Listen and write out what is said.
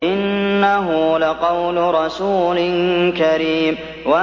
إِنَّهُ لَقَوْلُ رَسُولٍ كَرِيمٍ